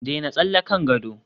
daina tsalle kan gado